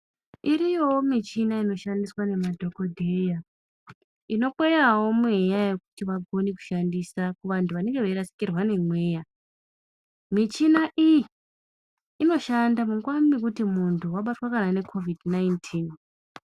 Iriyowo muchina inoshandiswa ngemadhokodheya inokweyawo mweya yekuti vakone kushandisa kuvantu vanonge veirasikirwa ngemweya muchina iyi inoshanda munguwa mwekuti muntu wabatwa ngeCOVID 19.